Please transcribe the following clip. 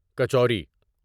kachori kachori